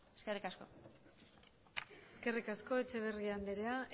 eskerrik asko eskerrik asko etxeberria anderea